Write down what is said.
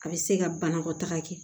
A bɛ se ka banakɔtaga kɛ